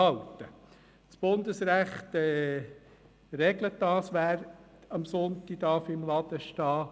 Das Bundesrecht regelt, wer sonntags im Laden stehen darf.